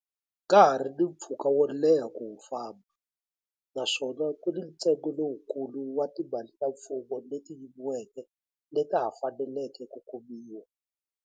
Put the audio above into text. Ka ha ri ni mpfhuka wo leha ku wu famba, naswona ku ni ntsengo lowukulu wa timali ta mfumo leti yiviweke leta ha faneleke ku kumiwa.